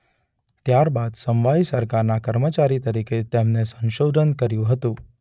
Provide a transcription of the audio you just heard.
ત્યારબાદ સમવાયી સરકારના કર્મચારી તરીકે તેમને સંશોધન કર્યું હતું.